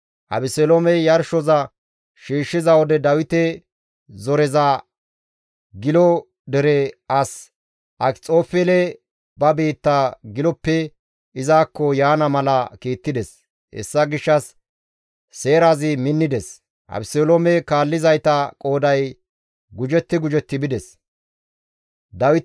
Abeseloomey yarshoza shiishshiza wode Dawite zoriza Gilo dere as Akxofeele ba biitta Giloppe izakko yaana mala kiittides; hessa gishshas seerazi minnides; Abeseloome kaallizayta qooday gujetti gujetti bides.